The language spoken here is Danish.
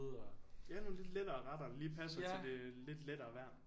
Ja nogle lidt lettere retter der lige passer til det lidt lettere vejr